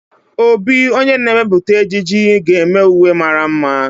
Obi, onye na-emepụta ejiji, ga-eme uwe mara mma